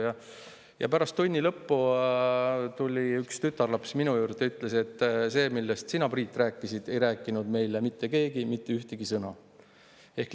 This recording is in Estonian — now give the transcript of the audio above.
Aga pärast tunni lõppu tuli üks tütarlaps minu juurde ja ütles: "Sellest, millest sina, Priit, rääkisid, ei ole meile mitte keegi mitte ühtegi sõna rääkinud.